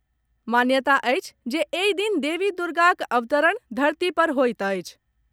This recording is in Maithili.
मान्यता अछि जे एहि दिन देवी दुर्गाक अवतरण धरती पर होईत अछि।